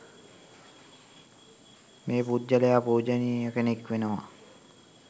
මේ පුද්ගලයා පූජනීය කෙනෙක් වෙනවා